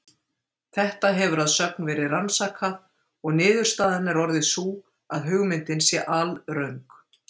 Þetta hefur að sögn verið rannsakað, og niðurstaðan orðið sú að hugmyndin sé alröng.